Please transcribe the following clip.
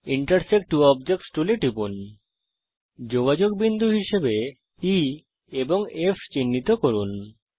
intersect ত্ব objects টুলে টিপুনযোগাযোগ বিন্দু হিসাবে E এবং F চিহ্নিত করুন